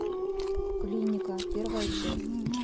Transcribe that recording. клиника первая часть